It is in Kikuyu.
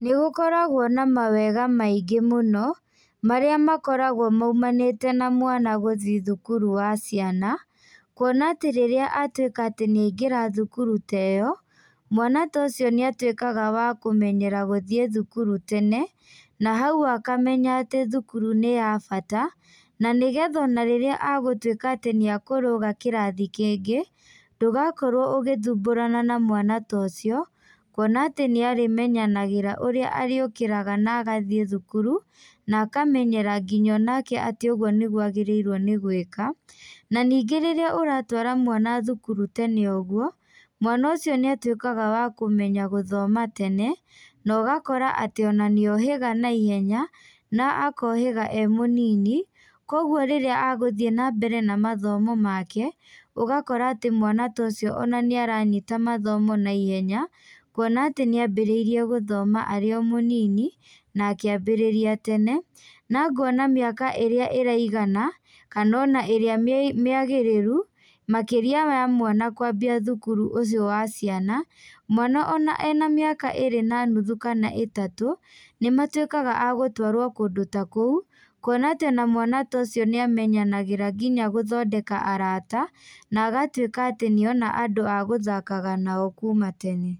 Nĩgũkoragwo na mawega maingĩ mũno, marĩa makoragwo maumanĩte na mwana gũthiĩ thukuru wa ciana, kuona atĩ rĩrĩa atuĩka atĩ nĩaingĩra thukuru ta ĩyo, mwana ta ũcio nĩatuĩkaga wa kũmenyera gũthiĩ thukuru tene, na hau akamenya atĩ thukuru nĩ ya bata, na nĩgetha ona rĩrĩa agũtuĩka atĩ nĩakũrũga kĩrathi kĩngĩ, ndũgakorwo ũgĩthumbũrana na mwana ta ũcio, kuona atĩ nĩarĩmenyanagĩra ũrĩa arĩũkĩraga na agathiĩ thukuru, na akamenyera nginya onake atĩ ũguo nĩguo agĩrĩirwo nĩ gwĩka, na ningĩ rĩrĩa ũratwara mwana thukuru tene ũguo, mwana ũcio nĩatuĩkaga wa kũmenya gũthoma tene, na ũgakora atĩ ona nĩohĩga na ihenya na akohĩga e mũnini, koguo rĩrĩa agũthiĩ na mbere na mathomo make, ũgakora atĩ mwana ta ũcio ona nĩaranyita mathomo naihenya, kuona atĩ nĩambĩrĩire gũthoma arĩ o mũnini, na akĩambĩrĩria tene, na ngona mĩaka ĩrĩa ĩraigana, kana ona ĩrĩa mĩ mĩagĩrĩru, makĩria ya mwana kwambia thukuru ũcio wa ciana, mwana ona ena mĩaka ĩrĩ na nuthu kana ĩtatũ, nĩmatuĩkaga agũtwarwo kũndũ ta kũu, kuona atĩ ona mwana ta ũcio nĩamenyanagĩra nginya gũthondeka arata, na agatuĩka atĩ nĩona andũ a gũthakaga nao kuma tene.